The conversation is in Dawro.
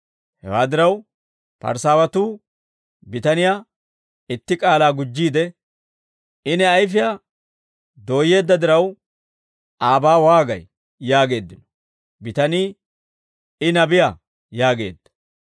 Hewaa diraw, Parisaawatuu bitaniyaa itti kaala gujjiide, «I ne ayfiyaa dooyyeedda diraw, aabaa waagay?» yaageeddino. Bitanii, «I nabiyaa» yaageedda.